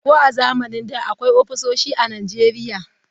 Ko a zamanin da akwai ofisoshi a Najeriya.